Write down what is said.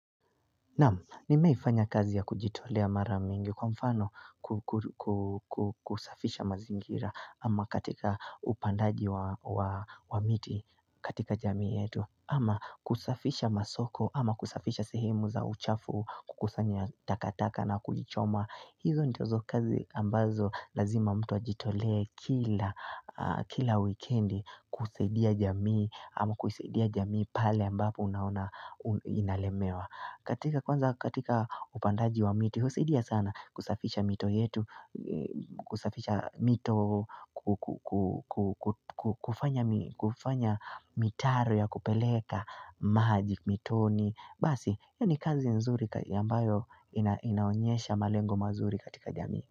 Namu, nimeifanya kazi ya kujitolea maramingi kwa mfano kusafisha mazingira ama katika upandaji wa miti katika jamii yetu Ama kusafisha masoko ama kusafisha sehemu za uchafu kukusanya takataka na kujichoma hizo nitozo kazi ambazo lazima mtu ajitolea kila weekendi kusaidia jamii ama kusaidia jamii pale ambapo unaona inalemewa katika upandaji wa miti, husidia sana kusafisha mito yetu, kusafisha mito, kufanya mitaro ya kupeleka, magic, mitoni. Basi, ya ni kazi nzuri yambayo inaonyesha malengo mazuri katika jami.